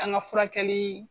An ka furakɛli